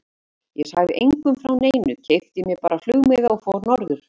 Ég sagði engum frá neinu, keypti mér bara flugmiða og fór norður.